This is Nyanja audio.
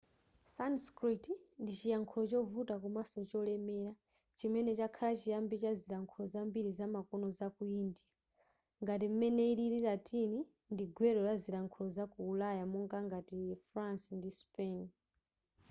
sanskrit ndi chiyankhulo chovuta komanso cholemela chimene chakhala chiyambi cha zilankhulo zambiri zamakono zaku india ngati m'mene ilili latin ndi gwero la zilankhulo zaku ulaya monga ngati france ndi spain